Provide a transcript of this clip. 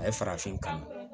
A ye farafin kanu